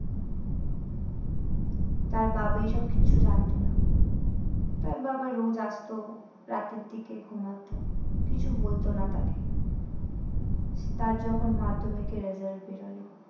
তার বাবা এসব কিচ্ছু জানতো না। তার বাবা রোজ আসতো, রাতের দিকে ঘুমাতো, কিছু বলতো না তাকে। তার যখন মাধ্যমিকের result বেরোলো